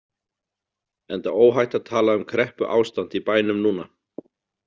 Enda óhætt að tala um kreppuástand í bænum núna.